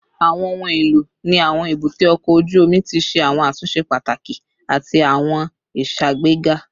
Awọn ohun elo ni awọn ebute oko oju omi ti ṣe awọn atunṣe pataki ati awọn iṣagbega